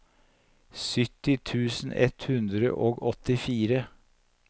sytti tusen ett hundre og åttifire